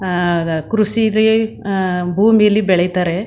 ಹಾ- ಕೃಷಿಲಿ ಹ- ಭೂಮಿಲಿ ಬೆಳಿತಾರೆ.